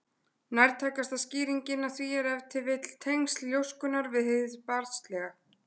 Nærtækasta skýringin á því er ef til vill tengsl ljóskunnar við hið barnslega.